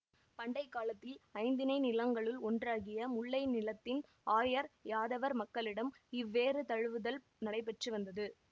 பண்டைக்காலத்தில் ஐந்திணை நிலங்களுள் ஒன்றாகிய முல்லை நிலத்தின் ஆயர்யாதவர் மக்களிடம் இவ்வேறு தழுவுதல் நடைபெற்று வந்தது